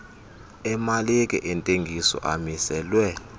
emalike zentengiso amiselwe